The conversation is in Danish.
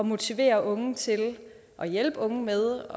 motivere unge til og hjælpe unge med